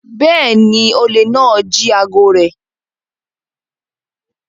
Bẹ́ẹ̀ni, olè náà jí aago rẹ̀